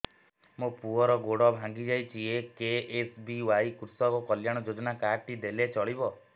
ମୋ ପୁଅର ଗୋଡ଼ ଭାଙ୍ଗି ଯାଇଛି ଏ କେ.ଏସ୍.ବି.ୱାଇ କୃଷକ କଲ୍ୟାଣ ଯୋଜନା କାର୍ଡ ଟି ଦେଲେ ଚଳିବ